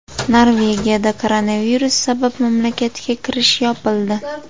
Norvegiyada koronavirus sabab mamlakatga kirish yopildi.